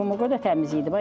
Qum o qədər təmiz idi.